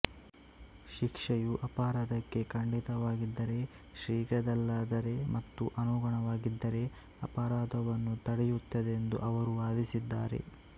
ಶಿಕ್ಷೆಯು ಅಪರಾಧಕ್ಕೆ ಖಂಡಿತವಾಗಿದ್ದರೆ ಶೀಘ್ರದಲ್ಲಾದರೆ ಮತ್ತು ಅನುಗುಣವಾಗಿದ್ದರೆ ಅಪರಾಧವನ್ನು ತಡೆಯುತ್ತದೆಂದು ಅವರು ವಾದಿಸಿದ್ದಾರೆ